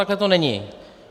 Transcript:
Takhle to není.